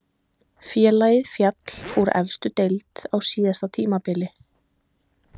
Félagið féll úr efstu deild á síðasta tímabili.